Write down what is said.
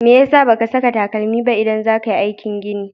Me ya sa ba ka saka takalmi but idan za ka yi aikin gini?